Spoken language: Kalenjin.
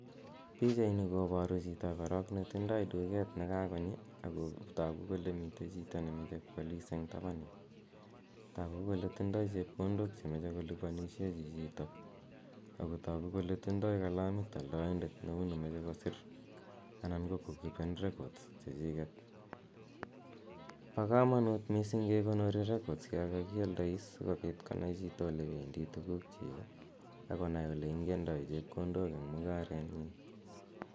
Pichaini kobaru chito korog netindoi duket ne kagochi ago tagu kole mite chito ne moche kwalis eng taban yu. Tagu kole tindoi chepkondok che moche kolupanisien chichito ago tagu kole tindoi kalamit aldoindet neu ne moche kosir anan ko kokipen records chechiget. Bo kamanut mising kekipeni records yon kagialdois sigopit konai chito olependi tugukchik ak konai ole ingendoi chepkondok eng mungarenyin.